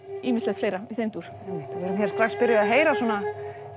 ýmislegt fleira í þeim dúr og við erum hér strax byrjuð a ð heyra svona